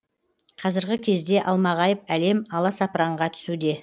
қазіргі кезде алмағайып әлем аласапыранға түсуде